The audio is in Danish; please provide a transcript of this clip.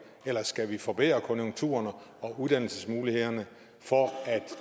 eller skal vi forbedre konjunkturerne og uddannelsesmulighederne for at